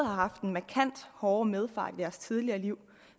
har haft en markant hårdere medfart i deres tidlige liv